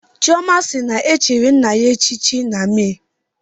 Chioma si na e chiri nna ya echichi na Mee